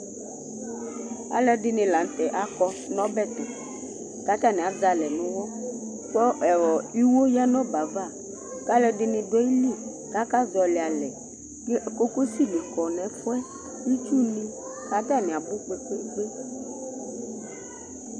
Aluɛɖìŋí la ŋtɛ akɔ ŋu ɔbɛ tu kʋ ataŋi azɛ alɛ ŋu ʋwɔ Iwo ya ŋu ɔbɛ ava kʋ alʋɛdìní ɖu ayìlí kʋ akazɔli alɛ Kokosi ni kɔ ŋu ɛfʋɛ, itsu ŋi kʋ ataŋi abʋ kpe kpe kpe